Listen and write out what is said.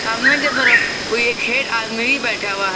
सामने की तरफ कोई एक हेड आदमी भी बैठा हुआ है।